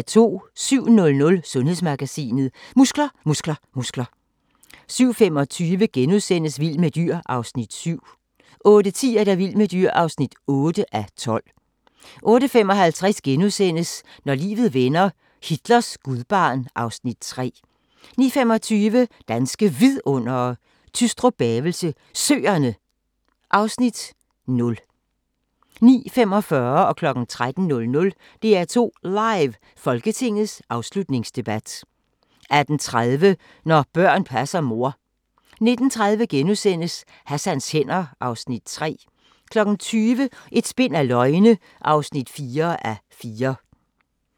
07:00: Sundhedsmagasinet: Muskler, muskler, muskler 07:25: Vild med dyr (7:12)* 08:10: Vild med dyr (8:12) 08:55: Når livet vender - Hitlers gudbarn (Afs. 3)* 09:25: Danske Vidundere: Tystrup-Bavelse Søerne (Afs. 0) 09:45: DR2 Live: Folketingets afslutningsdebat 13:00: DR2 Live: Folketingets afslutningsdebat 18:30: Når børn passer mor 19:30: Hassans hænder (3:4)* 20:00: Et spind af løgne (4:4)